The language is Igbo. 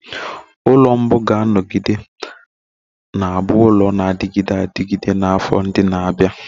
Ụlọ mbu ga-anọgide na-abụ ụlọ na-adịgide adịgide na afọ ndị na-abịa.